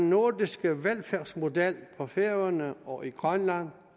nordiske velfærdsmodel på færøerne og i grønland